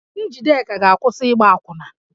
Njideka ga-akwụsị ịgba akwụna